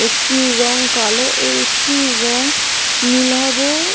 একটির রং কালো ও একটির রং নীলাভ--